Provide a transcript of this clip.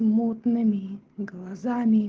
мутными глаза